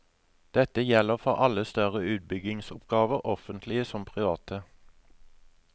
Dette gjelder for alle større utbyggingsoppgaver, offentlige som private.